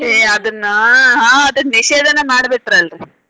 ಏ ಅದನ್ನ ಹಾ ಅದನ್ನ್ ನಿಷೇಧನ ಮಾಡಿ ಬಿಟ್ರಲ್ರಿ.